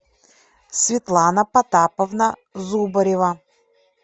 светлана потаповна зубарева